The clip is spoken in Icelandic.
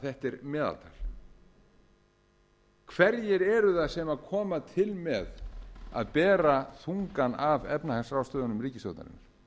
þetta er meðaltal hverjir eru það sem koma til með að bera þungann af efnahagsráðstöfunum ríkisstjórnarinnar